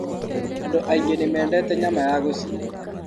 Andũ aingĩ nĩmendete nyama ya gũcinwo.